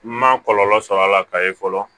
N ma kɔlɔlɔ sɔr'a la ka ye fɔlɔ